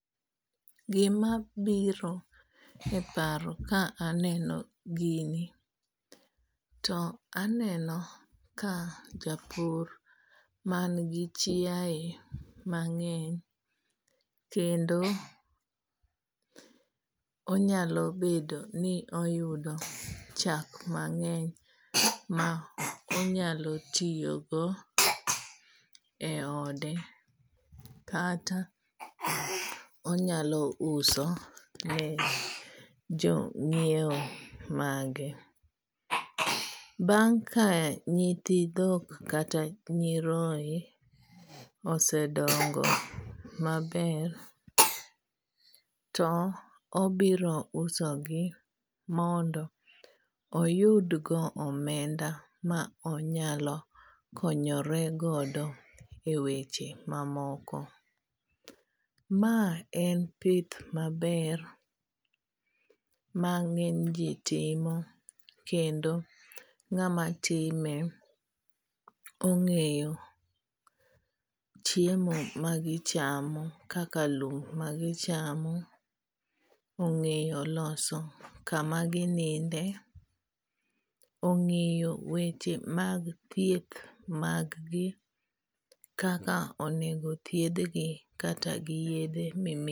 Gima biro e paro ka aneno gini, to aneno ka japur man gi chiae mang'eny kendo onyalo bedo ni oyudo chak mang'eny ma onyalo tiyo go e ode. Kata onyalo uso ne jo nyiewo mage. Bang' ka nyithi dhok kata nyiroe osedongo maber, to obiro uso gi mondo oyud go omenda ma onyalo konyore godo e weche mamoko. Ma en pith maber, mang'eny ji timo kendo ng'ama time ong'eyo chiemo ma gichamo kaka lum magichamo. Ong'eyo loso kama gininde. Ong'eyo weche mag thieth maggi kaka onego thiedhgi kata gi yiedhe.